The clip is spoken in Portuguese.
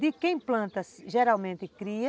De quem planta, geralmente cria.